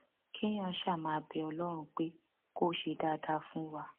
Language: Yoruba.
kéèyàn ṣáà máa bẹ ọlọrun pé kó ṣe dáadáa fún wa